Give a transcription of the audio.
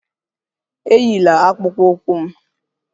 Eyila akpụkpọ ụkwụ m!